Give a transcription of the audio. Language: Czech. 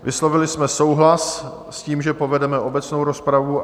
Vyslovili jsme souhlas s tím, že povedeme obecnou rozpravu.